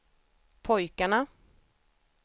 pojkarna